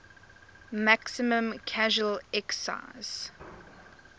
maximum casual excise